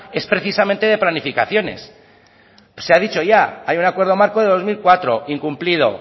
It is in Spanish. es precisamente de planificaciones se ha dicho ya hay un acuerdo marco de dos mil cuatro incumplido